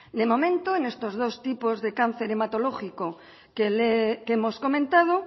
de momento en estos dos tipos de cáncer hematológico que hemos comentado